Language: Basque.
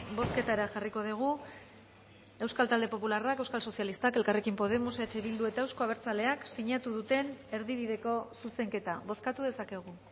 bozketara jarriko dugu euskal talde popularrak euskal sozialistak elkarrekin podemos eh bildu eta euzko abertzaleak sinatu duten erdibideko zuzenketa bozkatu dezakegu